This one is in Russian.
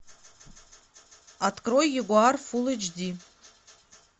открой ягуар фул эйч ди